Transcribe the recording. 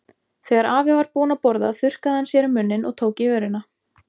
Þegar afi var búinn að borða þurrkaði hann sér um munninn og tók í vörina.